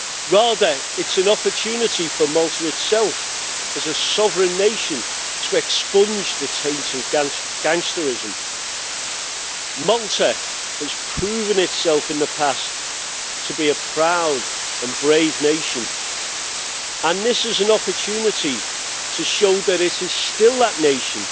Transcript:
Rather, it is an opportunity for Malta itself, as a sovereign nation, to expunge the taints of gangsterism. Malta has proven itself in the past to be a proud and brave nation, and this is an opportunity to show that it is still that nation,